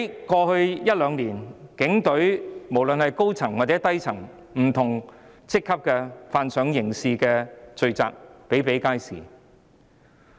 過去一兩年，在警隊中不論是高層或低層，不同職級人員犯上刑事罪的個案比比皆是。